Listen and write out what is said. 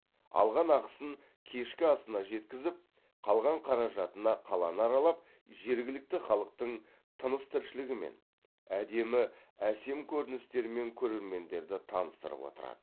алған ақысын кешкі асына жеткізіп қалған қаражатына қаланы аралап жергілікті халықтың тыныс тіршілігімен әдемі әсем көріністерімен көрермендерді таныстырып отырады